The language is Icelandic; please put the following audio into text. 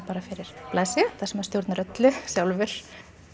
bara fyrir blaðsíðu þar sem maður stjórnar öllu sjálfur